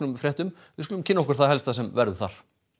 fréttum við skulum kynna okkur það helsta sem verður þar